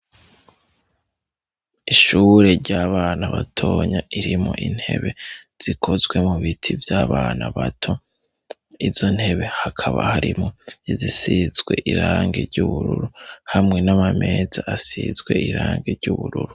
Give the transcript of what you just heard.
Ishuure ry'abana batonya irimwo intebe zikozwe mu biti vy'abana bato. Izo ntebe hakaba harimwo izisizwe irange ry'ubururu hamwe n'amameza asizwe irange ry'ubururu.